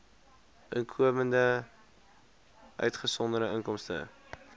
inkomste uitgesonderd inkomste